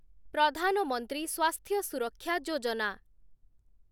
ପ୍ରଧାନ ମନ୍ତ୍ରୀ ସ୍ୱାସ୍ଥ୍ୟ ସୁରକ୍ଷା ଯୋଜନା